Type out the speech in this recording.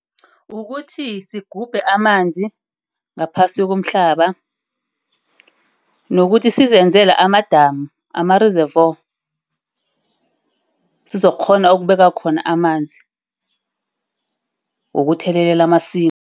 Ukuthi sigubhe amanzi ngaphasi komhlaba. Nokuthi sizebenzele amadamu ama-reservoir sizokukghona ukubeka khona amanzi wokuthelelela amasimimu.